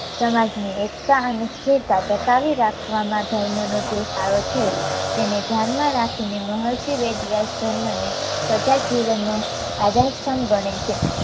સમાજની એકતા અને સ્થિરતા ટકાવી રાખવા માટે ધર્મ નો જે પાયો છે તેને ધ્યાનમાં રાખીને મહર્ષિ વેદ વ્યાસ ધર્મને પ્રજા જીવનનો આધાર સ્તંભ ગણે છે